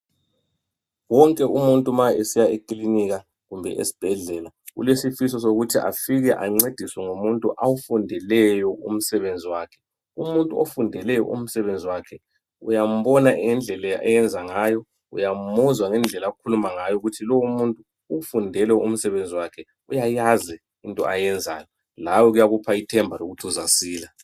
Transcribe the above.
Wonke umuntu ma esiya ekilinika kumbe esibhedlela, ulesifiso sokuthi afike ancediswe ngumuntu awufundeleyo umsebenzi wakhe. Umuntu ofundele umsebenzi wakhe uyambona ngendlela ayenza ngayo , uyamuzwa ngendlela akhuluma ngayo kuyamupha ithemba lokuthi lawe uzasila.